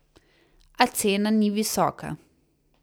A cena ni visoka.